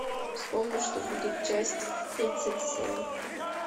вспомни что будет часть тридцать семь